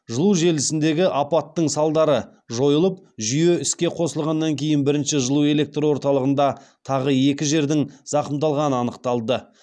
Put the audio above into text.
жылу желілсіндегі апаттың салдары жойылып жүйе іске қосылғаннан кейін бірінші жылу электр орталығында тағы екі жердің зақымдалғаны анықталды